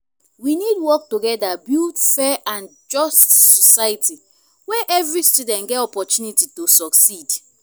we need work together build fair and just society where every students get oppotunity to succeed.